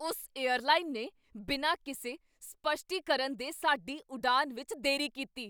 ਉਸ ਏਅਰਲਾਈਨ ਨੇ ਬਿਨਾਂ ਕਿਸੇ ਸਪੱਸ਼ਟੀਕਰਨ ਦੇ ਸਾਡੀ ਉਡਾਣ ਵਿੱਚ ਦੇਰੀ ਕੀਤੀ।